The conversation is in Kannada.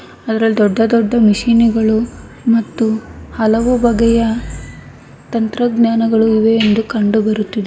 ಅದರಲ್ಲಿ ದೊಡ್ದ ದೊಡ್ದ ಮಷೀನ್ ಗಳು ಮತ್ತು ಹಲವು ಬಗೆಯ ತಂತ್ರಜ್ಞಾನಗಳು ಇವೆ ಎಂದು ಕಂಡುಬರುತ್ತದೆ.